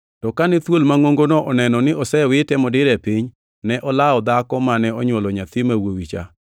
To kane thuol mangʼongono oneno ni osewite modire e piny, ne olawo dhako mane onywolo nyathi ma wuowi cha.